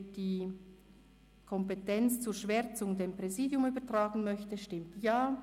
Wer die Kompetenz zur Schwärzung dem Präsidium übertragen möchte, stimmt Ja,